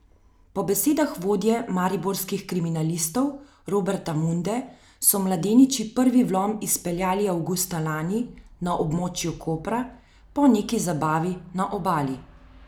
Po besedah vodje mariborskih kriminalistov Roberta Munde so mladeniči prvi vlom izpeljali avgusta lani na območju Kopra, po neki zabavi na Obali.